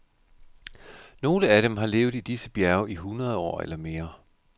Nogle af dem har levet i disse bjerge i hundrede år eller mere.